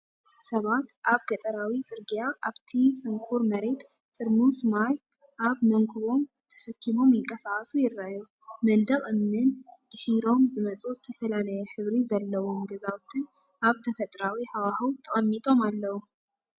ሰባት ኣብ ገጠራዊ ጽርግያ ኣብቲ ጽንኩር መሬት፡ ጥርሙዝ ማይ ኣብ መንኵቦም ተሰኪሞም ይንቀሳቐሱ ይረኣዩ፤ መንደቕ እምኒን ድሒሮም ዝመጹ ዝተፈላለየ ሕብሪ ዘለዎም ገዛውትን ኣብ ተፈጥሮኣዊ ሃዋህው ተቐሚጦም ኣለዉ።